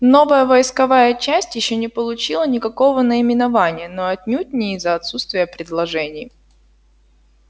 новая войсковая часть ещё не получила никакого наименования но отнюдь не из-за отсутствия предложений